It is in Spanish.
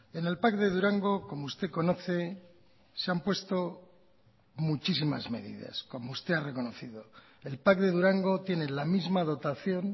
en el pac de durango como usted conoce se han puesto muchísimas medidas como usted ha reconocido el pac de durango tiene la misma dotación